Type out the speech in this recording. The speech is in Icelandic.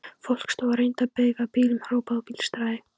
Fólk stóð og reyndi að veifa bílum, hrópaði og blístraði.